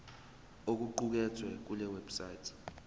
okuqukethwe kule website